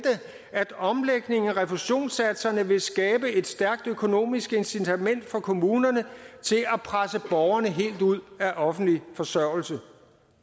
at omlægningen af refusionssatserne vil skabe et stærkt økonomisk incitament for kommunerne til at presse borgerne helt ud af offentlig forsørgelse